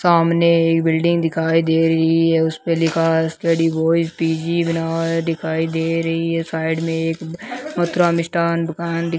सामने एक बिल्डिंग दिखाई दे रही है उस पे लिखा है एस_के डिवाइस पी_जी बना है दिखाई दे रही है साइड में एक मथुरा मिष्ठान दुकान --